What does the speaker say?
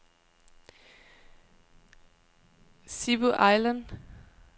Sibu Island